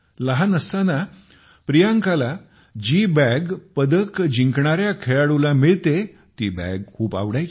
लहान असताना प्रियांकाला जी पदक जिंकणाऱ्या खेळाडूला मिळते ती बॅग खूप आवडायची